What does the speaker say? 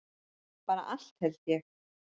Bara allt held ég.